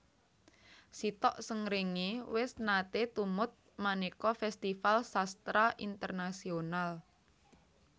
Sitok Srengenge wis nate tumut maneka festival sastra internasional